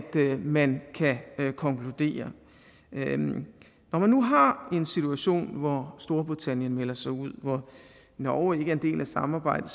man kan konkludere når man nu har en situation hvor storbritannien melder sig ud hvor norge ikke er en del af samarbejdet